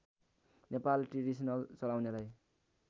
Nepali traditional चलाउनेलाई